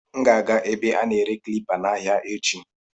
M ga-aga ebe a na-ere klipa n'ahịa echi.